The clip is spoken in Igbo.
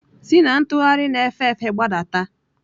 Si na ntugharị na-efe efe gbadata!